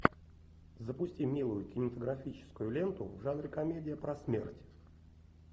запусти милую кинематографическую ленту в жанре комедия про смерть